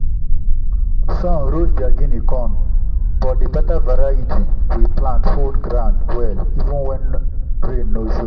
sun roast their guinea corn but the better variety we plant hold ground well even when rain no show.